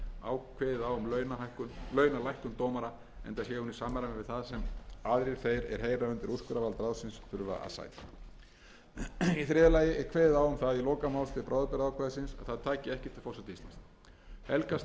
til stjórnskipulegrar sérstöðu dómara en rétt er að taka fram að grunnreglur um sjálfstæði dómsvaldsins samanber aðra og sjötugasta grein stjórnarskrárinnar koma ekki í veg fyrir að kjararáð geti